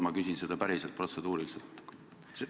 Ma küsin seda päriselt protseduuriliselt.